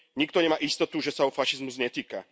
Nikto nemá istotu, že sa ho fašizmus netýka.